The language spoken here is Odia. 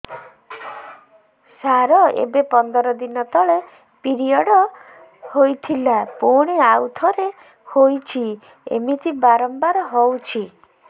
ସାର ଏବେ ପନ୍ଦର ଦିନ ତଳେ ପିରିଅଡ଼ ହୋଇଥିଲା ପୁଣି ଆଉଥରେ ହୋଇଛି ଏମିତି ବାରମ୍ବାର ହଉଛି